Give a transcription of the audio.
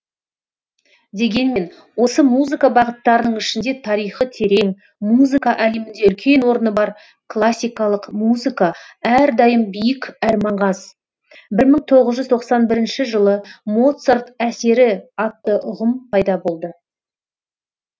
дегенмен осы музыка бағыттарының ішінде тарихы терең музыка әлемінде үлкен орны бар классикалық музыка әрдайым биік әрі маңғаз бір мың тоғыз жүз тоқсан бірінші жылы моцарт әсері атты ұғым пайда болды